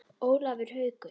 Ólafur Haukur.